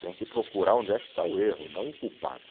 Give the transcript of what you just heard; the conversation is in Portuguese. Tem que procurar onde é que está o erro, não o culpado.